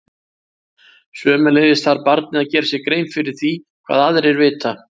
Sömuleiðis þarf barnið að gera sér grein fyrir því hvað aðrir vita.